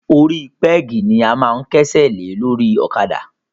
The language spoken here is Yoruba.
Orí pẹ́gì ni a máa ń kẹ́sẹ̀ lé lórí ọ̀kadà.